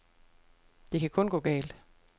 Det kan kun gå galt.